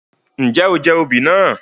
Njẹ o jẹ oobi naa?